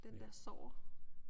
Den dér Sorger